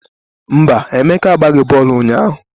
Mba, Emeka agbaghị bọọlụ ụnyahụ